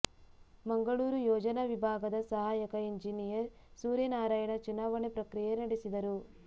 ಮಂಗಳೂರು ಯೋಜನಾ ವಿಭಾಗದ ಸಹಾಯಕ ಇಂಜಿನಿಯರ್ ಸೂರ್ಯನಾರಾಯಣ ಚುಣಾವಣೆ ಪ್ರಕ್ರಿಯೆ ನಡೆಸಿದರು